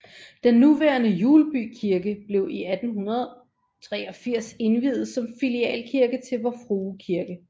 Den nuværende Hjulby Kirke blev i 1883 indviet som filialkirke til Vor Frue Kirke